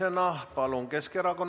Aitäh!